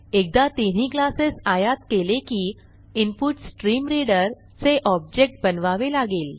एकदा तिन्ही क्लासेस आयात केले की इन्पुटस्ट्रीमरीडर चे ऑब्जेक्ट बनवावे लागेल